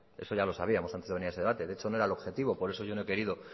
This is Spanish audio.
eso ya lo sabíamos antes de venir a este debate de hecho no era el objetivo por eso yo no he querido